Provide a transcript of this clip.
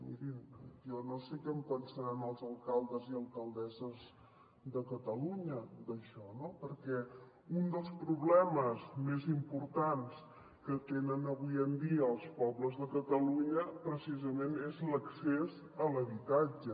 mirin jo no sé què en pensaran els alcaldes i alcaldesses de catalunya d’això no perquè un dels problemes més importants que tenen avui en dia els pobles de catalunya precisament és l’accés a l’habitatge